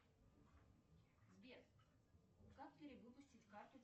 сбер как перевыпустить карту